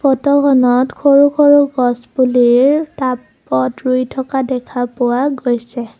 ফটোখনত সৰু সৰু গছপুলিৰ টাবত ৰুই থকা দেখা পোৱা গৈছে।